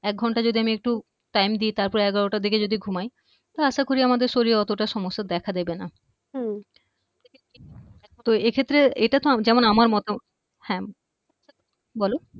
এক ঘন্টা আমি যদি একটু time দি তারপর এগরোটার দিকে যদি ঘুমাই আশা করছি আমদের শরীরে অতোটা সমস্যা দেখা দিবে না তো এক্ষেত্রে এটা তো যেমন আমার মতো হ্যা বলো